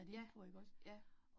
Ja. Ja